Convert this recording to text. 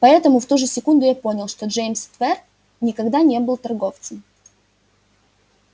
поэтому в ту же секунду я понял что джеймс твер никогда не был торговцем